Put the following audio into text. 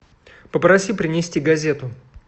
попроси принести газету